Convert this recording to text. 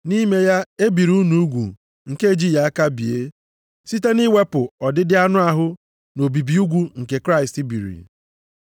Nʼime ya, e biri unu ugwu nke ejighị aka bie, site nʼiwepụ ọdịdị anụ ahụ nʼobibi ugwu nke Kraịst biri.